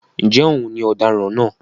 ǹjẹ́ òun ni òdaran náà?